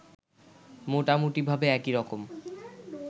মোটামুটিভাবে একইরকম